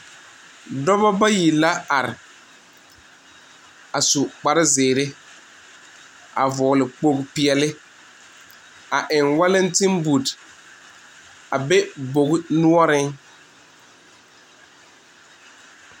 Dɔɔbo bayi la are a zu kpare ziiri a vɔgle kpogle peɛle a eŋ walanti buut a be bogi noɔre.